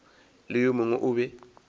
le yo mongwe o be